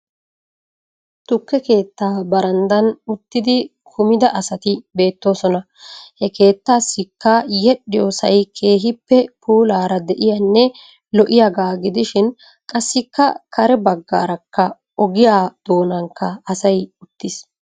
Tukke keettaa baranddan uttidi kumida asati beettoosona. He keettaassikka yedhdhiyoosay keehippe puulaara de"iyaanne lo"iyaagaa gidishin qassikka kare baggarakka ogiyaa doonankka asay uttiis.